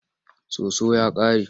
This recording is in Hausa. Soso ya ƙare.